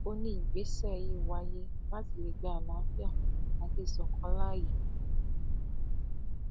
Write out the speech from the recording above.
ó ní ìgbésẹ yìí wáyé láti lè gba àlàáfíà àti ìṣọkan láàyè